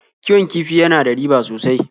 Kiwon kifi ya na da riba sosai.